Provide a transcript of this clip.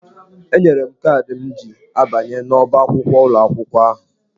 Enyere m kaadị m ji abanye n'ọ́bá akwụkwọ ụlọ akwụkwọ ahụ.